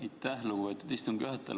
Aitäh, lugupeetud istungi juhataja!